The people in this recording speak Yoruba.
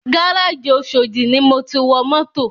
Gárájì oshodi ni mo ti wọ mọ́tò